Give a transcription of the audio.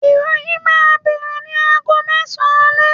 iroyin ma bere nì àgó mesan ale